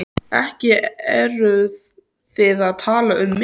Ekki eruð þið að tala um mig?